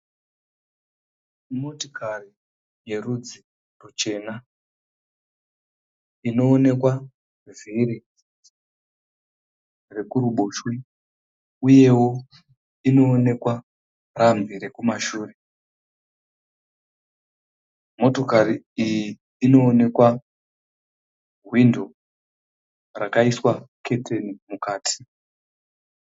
Motokari yerudzi ruchena, inoonekwa vhiri rekuboshwe, uyewo inoonekwa rambi rekumashure. Motokari iyi inoonekwa hwindo rakaiswa keteni mukati.